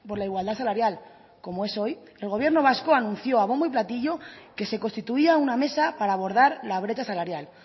la igualdad salarial como es hoy el gobierno vasco anunció a bombo y platillo que se constituía una mesa para abordar la brecha salarial